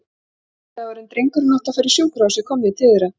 Kvöldið áður en drengurinn átti að fara í sjúkrahúsið kom ég til þeirra.